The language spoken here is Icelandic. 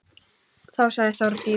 Þá sagði Þórdís: